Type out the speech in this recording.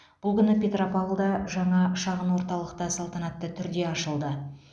бұл күні петропавлда жаңа шағын орталық та салтанатты түрде ашылды